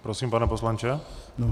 Prosím, pane poslanče.